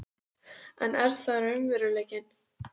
En er það raunveruleikinn?